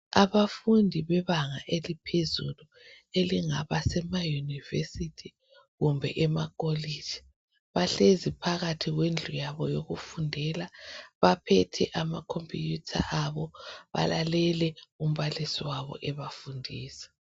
Abafundi bebanga eliphezulu elingaba semayunivesithi kumbe emakholitshi bahlezi phakathi kwendlu yabo yokufundela, baphethe ama computer, balalele umbalisi wabo ebafundisa.